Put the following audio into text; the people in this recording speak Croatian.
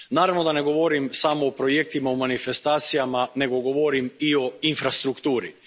Naravno da ne govorim samo o projektima i manifestacijama nego govorim i o infrastrukturi.